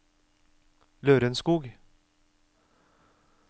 Lørenskog